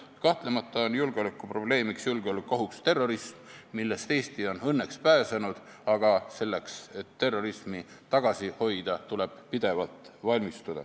Kahtlemata on julgeolekuprobleemiks, julgeolekuohuks terrorism, millest Eesti on õnneks pääsenud, aga selleks, et terrorismi tagasi hoida, tuleb pidevalt valmistuda.